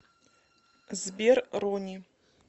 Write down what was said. сбер ронни